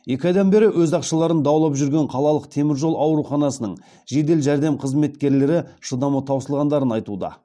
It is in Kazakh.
екі айдан бері өз ақшаларын даулап жүрген қалалық теміржол ауруханасының жедел жәрдем қызметкерлері шыдамы таусылғандарын айтуда